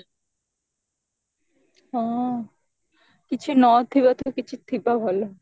ହଁ କିଛି ନଥିବା ଠୁ କିଛି ଥିବା ଭଲ